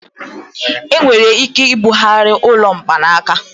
Enwere ike ibugharị ụlọ mkpanaka.